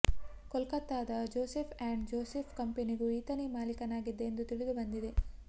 ಕೊಲ್ಕತ್ತದ Joseph and Joseph ಕಂಪನಿಗೂ ಈತನೇ ಮಾಲಿಕನಾಗಿದ್ದ ಎಂದು ತಿಳಿದು ಬಂದಿದೆ